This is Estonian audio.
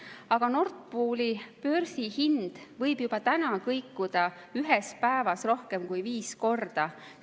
Aga Nord Pooli börsihind võib juba nüüd kõikuda ühe päeva jooksul rohkem kui viis korda.